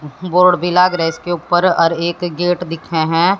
Board भी लाग रह इसके ऊपर और एक गेट दिखे हैं।